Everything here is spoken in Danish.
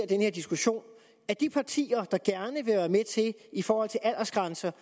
den her diskussion at de partier der gerne i forhold til aldersgrænser